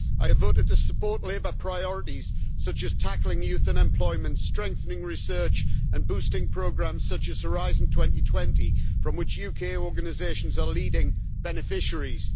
I voted to support Labour Party priorities, such as tackling youth unemployment, strengthening research and boosting programmes such as Horizon 2020, from which UK organisations are leading beneficiaries.